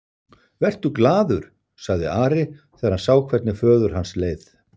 Vertu glaður, sagði Ari þegar hann sá hvernig föður hans leið.